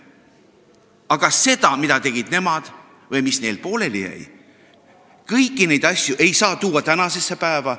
Aga kõike seda, mida tegid nemad või mis neil pooleli jäi, kõiki neid asju, ei saa tuua tänasesse päeva.